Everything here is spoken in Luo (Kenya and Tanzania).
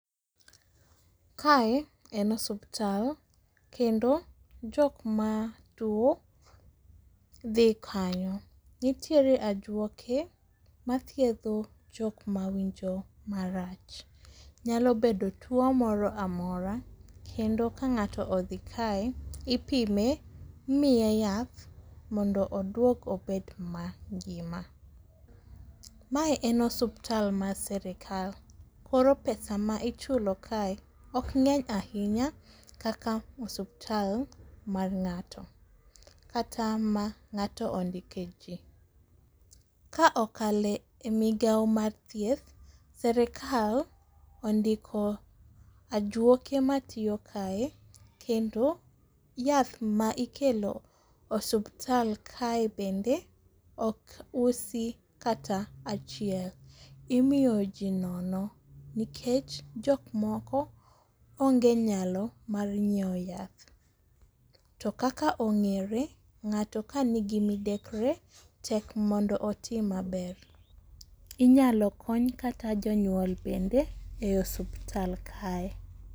kae en osuptal kendo jok matuwo dhi kanyo .Nitiere ajuoke mathiedho jok mawinjo marach. Nyalo bedo tuwo moro amora ,kendo ka ng'ato odhi kae, ipime imiye yath mondo odwog obed mangima. Mae en osuptal mar sirikal koro pesa ma ichulo kae ok ng'eny ahinya kaka osuptal mar ng'ato kata ma ng'ato ondike ji. Ka okalo e migawo mar thieth, sirikal ondiko ajuoke matiyo kae kendo yath ma ikelo e osuptal kae bende ok usi kata achiel. imiyo ji nono nikech jok moko onge nyalo mar nyiewo yath, to kaka ong'ere, ng'ato ka nigi midekre, tek mondo oti maber. Inyalo kony kata jonyuol bende e osuptal kae.